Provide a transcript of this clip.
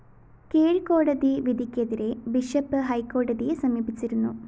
കീഴ്‌ക്കോടതി വിധിക്കെതിരെ ബിഷപ്പ്‌ ഹൈക്കോടതിയെ സമീപിച്ചിരുന്നു